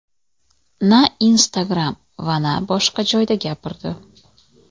na Instagram va na boshqa joyda gapirdi.